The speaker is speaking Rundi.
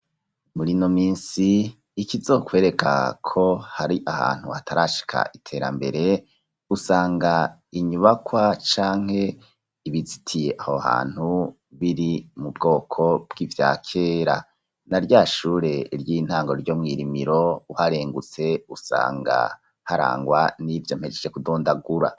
Muri ino minsi, ikizokwereka ko, hari ahantu hatarashika iterambere, usanga inyubakwa, canke ibizitiye aho hantu, biri mu bwoko bw'ivya kera; na rya shure ry'intango ryo mw'i Rimiro, uharengutse, usanga harangwa n'ivyo mpejeje kudondagura.